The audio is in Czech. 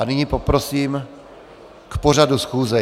A nyní poprosím k pořadu schůze.